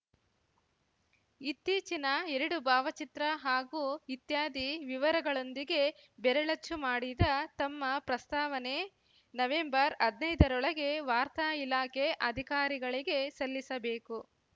ಇತ್ತೀಚಿನ ಎರಡು ಭಾವಚಿತ್ರ ಹಾಗೂ ಇತ್ಯಾದಿ ವಿವರಗಳೊಂದಿಗೆ ಬೆರಳಚ್ಚು ಮಾಡಿದ ತಮ್ಮ ಪ್ರಸ್ತಾವನೆ ನವೆಂಬರ್ಹದ್ನೈದರೊಳಗೆ ವಾರ್ತಾ ಇಲಾಖೆ ಅಧಿಕಾರಿಗಳಿಗೆ ಸಲ್ಲಿಸಬೇಕು